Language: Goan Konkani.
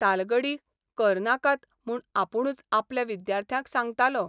तालगडी करनाकात म्हूण आपूणच आपल्या विद्यार्थ्याक सांगतालो.